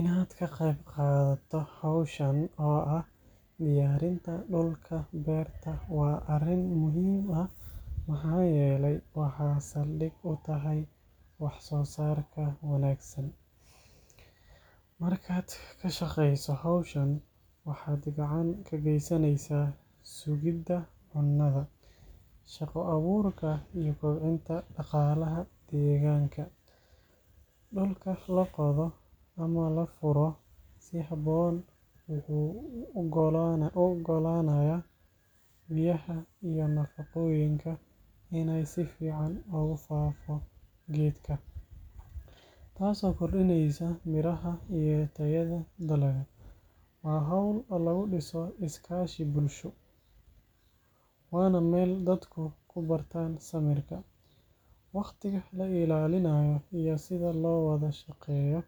Inaad ka qayb qaadato hawshan oo ah diyaarinta dhulka beerta waa arrin muhiim ah maxaa yeelay waxay saldhig u tahay waxsoosaarka wanaagsan. Markaad ka shaqeyso hawshan, waxaad gacan ka geysaneysaa sugidda cunnada, shaqo abuurka iyo kobcinta dhaqaalaha deegaanka. Dhulka la qodo ama la furo si habboon wuxuu u oggolaanayaa biyaha iyo nafaqooyinka inay si fiican ugu faafo geedka, taasoo kordhinaysa midhaha iyo tayada dalagga. Waa hawl lagu dhiso is-kaashi bulsho, waana meel dadku ku bartaan samirka, waqtiga la ilaalinayo iyo sida loo wada shaqeeyo.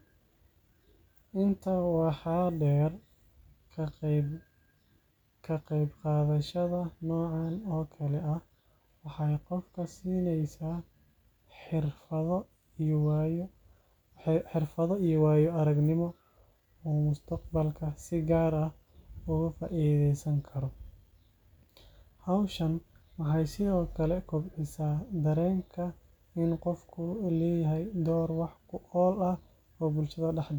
Intaa waxaa dheer, ka qaybqaadashada noocan oo kale ah waxay qofka siinaysaa xirfado iyo waayo-aragnimo uu mustaqbalka si gaar ah uga faa’iidaysan karo. Hawshan waxay sidoo kale kobcisaa dareenka in qofku leeyahay door wax ku ool ah oo bulshada dhexdeeda ah.